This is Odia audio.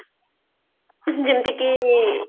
ଯେମତି କି